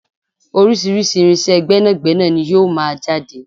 Orísirísi irinsé gbẹ́nàgbẹ́nà ní yóò máa jáde